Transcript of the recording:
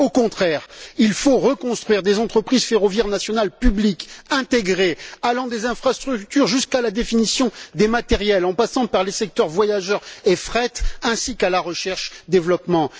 Au contraire, il faut reconstruire des entreprises ferroviaires nationales publiques intégrées allant des infrastructures jusqu'à la définition des matériels, en passant par les secteurs voyageurs et fret ainsi qu'à la recherche et développement.